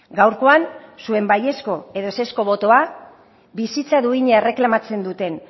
gaurkoan zuen baiezko edo ezezko botoa bizitza duina erreklamatzen duten